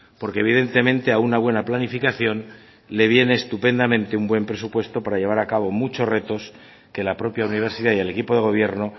porque evidentemente a una buena planificación le viene estupendamente un buen presupuesto para llevar a cabo muchos retos que la propia universidad y el equipo de gobierno